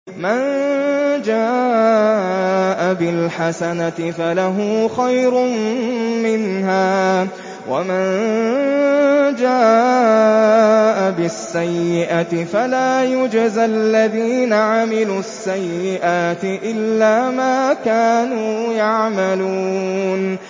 مَن جَاءَ بِالْحَسَنَةِ فَلَهُ خَيْرٌ مِّنْهَا ۖ وَمَن جَاءَ بِالسَّيِّئَةِ فَلَا يُجْزَى الَّذِينَ عَمِلُوا السَّيِّئَاتِ إِلَّا مَا كَانُوا يَعْمَلُونَ